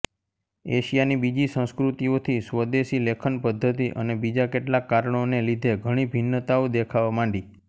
એશિયાની બીજી સંસ્કૃતીઓથી સ્વદેશી લેખન પદ્ધતિ અને બીજા કેટલાક કારણોને લીધે ઘણી ભિન્નતાઓ દેખાવા માંડી